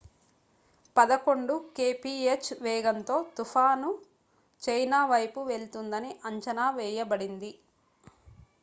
పదకొండు kph వేగంతో తుఫాను china వైపు వెళ్తుందని అంచనా వేయబడింది